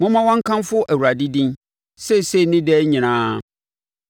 Momma wɔnkamfo Awurade din, seesei ne daa nyinaa.